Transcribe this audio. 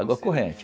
Água corrente.